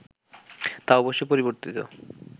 তা অবশ্যই পরিবর্তিত